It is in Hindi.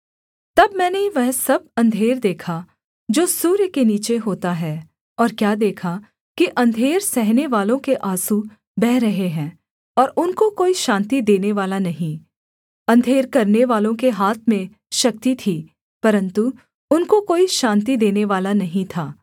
तब मैंने वह सब अंधेर देखा जो सूर्य के नीचे होता है और क्या देखा कि अंधेर सहनेवालों के आँसू बह रहे हैं और उनको कोई शान्ति देनेवाला नहीं अंधेर करनेवालों के हाथ में शक्ति थी परन्तु उनको कोई शान्ति देनेवाला नहीं था